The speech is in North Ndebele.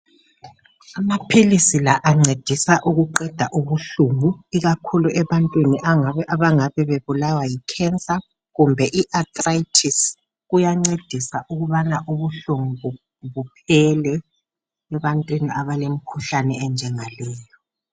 Amaphilisi la ancedisa ukuqeda ubuhlungu ikakhulu ebantwini abangabe bebulawa yi cancer kumbe iarthritis kuyancedisa ukubana ubuhlungu buphele ebantwini abalemkhuhlane enjengaleyo.